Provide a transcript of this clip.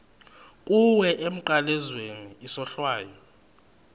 kuwe emnqamlezweni isohlwayo